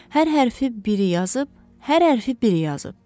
Hər hərfi biri yazıb, hər hərfi biri yazıb.